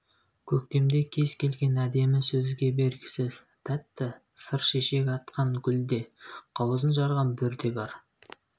көктемде кез келген әдемі сөзге бергісіз тәтті сыр шешек атқан гүлде қауызын жарған бүрде бар